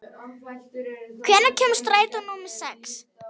Normann, hvenær kemur strætó númer sex?